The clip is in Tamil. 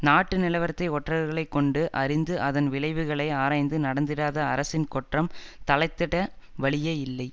நாட்டு நிலவரத்தை ஒற்றர்களைக் கொண்டு அறிந்து அதன் விளைவுகளை ஆராய்ந்து நடந்திடாத அரசின் கொற்றம் தழைத்திட வழியே இல்லை